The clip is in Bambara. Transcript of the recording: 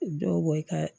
Dɔw bɔ i ka